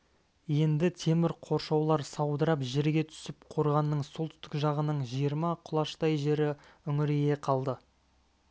енді темір қоршаулар саудырап жерге түсіп қорғанның солтүстік жағының жиырма құлаштай жері үңірейе қалды